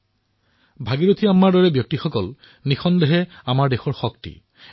নিশ্চিতভাৱেই ভাগিৰথী আম্মাৰ দৰেই লোক হল এই দেশৰ শক্তি